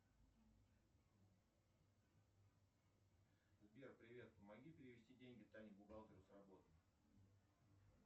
сбер привет помоги перевести деньги тане бухгалтеру с работы